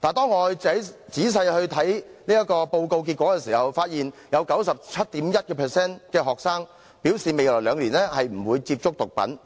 但當我仔細閱讀報告結果的時候，卻發現有 97.1% 的學生表示未來兩年不會接觸毒品。